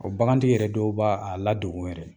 bagantigi yɛrɛ dɔw b'a a ladogo yɛrɛ